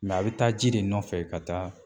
a bɛ taa ji de nɔfɛ ka taa